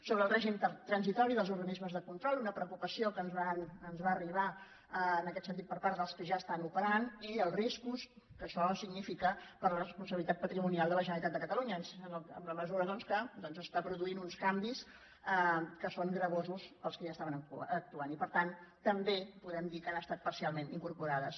sobre el règim transitori dels organismes de control una preocupació que ens va arribar en aquest sentit per part dels que ja estan operant i els riscos que això significa per a la responsabilitat patrimonial de la generalitat de catalunya en la mesura doncs que està produint uns canvis que són costosos per als que ja estaven actuant i per tant també podem dir que han estat parcialment incorporades